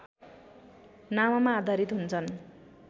नाममा आधारित हुन्छन्